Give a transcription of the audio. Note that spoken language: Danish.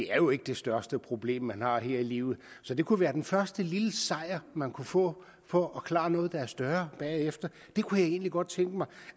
er jo ikke det største problem man har her i livet så det kunne være den første lille sejr man kunne få for at kunne klare noget der er større bagefter det kunne jeg egentlig godt tænke mig